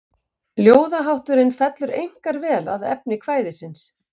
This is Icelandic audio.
Ljóðahátturinn fellur einkar vel að efni kvæðisins.